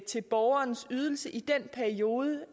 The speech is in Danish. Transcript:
til borgerens ydelse i den periode